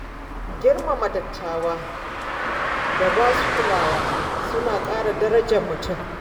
Girmama dattawa da ba su kulawa suna ƙara darajar mutum.